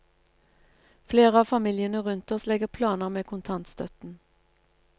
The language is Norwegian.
Flere av familiene rundt oss legger planer med kontantstøtten.